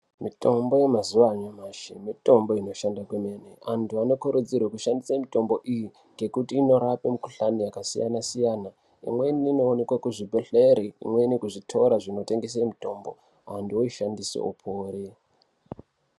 Mitombo yemazuwa anyamashi, mitombo inoshanda kwemene. Antu anokurudzirwe kushandise mitombo iyi ngekuti inorape mukhuhlani yakasiyana-siyana. Imweni inowanikwa kuzvibhedhlera imweni kuzvitoro zvinotengese mitombo, antu oishandise opore.